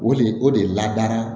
O de o de ladara